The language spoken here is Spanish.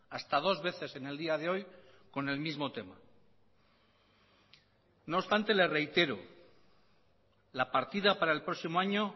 hasta dos veces en el día de hoy con el mismo tema no obstante le reitero la partida para el próximo año